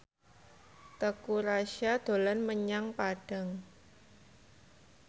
Teuku Rassya dolan menyang Padang